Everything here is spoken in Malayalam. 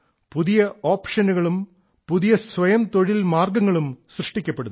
പുതിയ ഓപ്ഷനുകളും പുതിയ സ്വയംതൊഴിൽ മാർഗ്ഗങ്ങളും സൃഷ്ടിക്കപ്പെടുന്നു